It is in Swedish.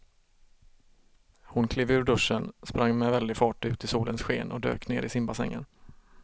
Hon klev ur duschen, sprang med väldig fart ut i solens sken och dök ner i simbassängen.